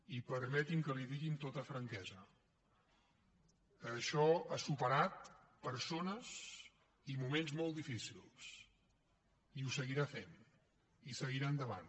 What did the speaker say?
i permeti’m que li ho digui amb tota franquesa això ha superat persones i moments molt difícils i ho seguirà fent i seguirà endavant